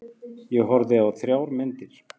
Ég horfði á þrjár myndir.